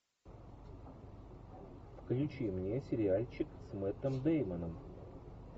включи мне сериальчик с мэттом дэймоном